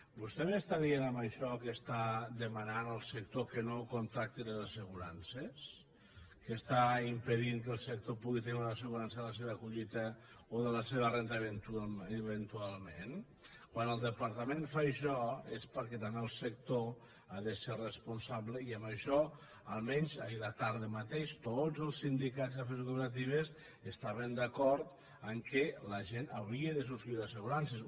vostè m’està dient amb això que demana al sector que no contracti les assegurances que està impedint que el sector pugui tenir una assegurança de la seva collita o de la seva renda eventualment quan el departament fa això és perquè també el sector ha de ser responsable i amb això almenys ahir la tarda mateix tots els sindicats i les cooperatives estaven d’acord que la gent hauria de subscriure assegurances